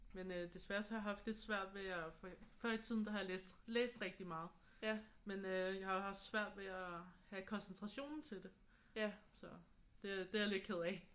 Men øh desværre så har jeg haft lidt svært ved at før i tiden der har jeg læst læst rigtig meget men øh jeg har jo haft svært ved at have koncentrationen til det så det er jeg lidt ked af